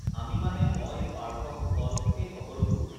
আমি মানে ম‍ই পাৰ্থ কুশল এই সকলোবোৰ